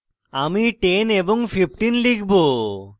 আমি 10 এবং 15 লিখব